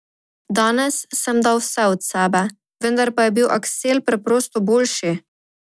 Danes sem dal vse od sebe, vendar pa je bil Aksel preprosto boljši.